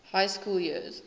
high school years